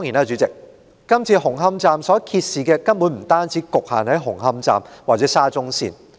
主席，這次紅磡站所揭示的問題，根本不只局限於紅磡站或沙中線。